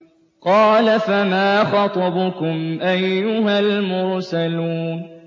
۞ قَالَ فَمَا خَطْبُكُمْ أَيُّهَا الْمُرْسَلُونَ